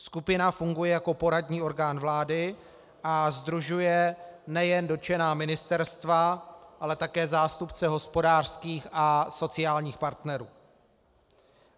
Skupina funguje jako poradní orgán vlády a sdružuje nejen dotčená ministerstva, ale také zástupce hospodářských a sociálních partnerů.